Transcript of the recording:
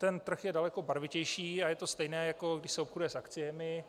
Ten trh je daleko barvitější a je to stejné, jako když se obchoduje s akciemi.